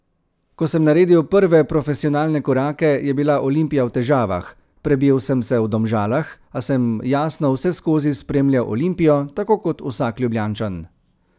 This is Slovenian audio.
Ko sem naredil prve profesionalne korake, je bila Olimpija v težavah, prebil sem se v Domžalah, a sem jasno vseskozi spremljal Olimpijo, tako kot vsak Ljubljančan.